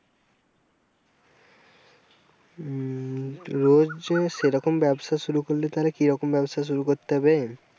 উম রোজ যে সেরকম ব্যবসা শুরু করলে তাহলে কি রকম ব্যবসা শুরু করতে হবে?